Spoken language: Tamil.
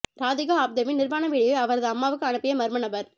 ராதிகா ஆப்தேவின் நிர்வாண வீடியோவை அவரது அம்மாவுக்கு அனுப்பிய மர்ம நபர்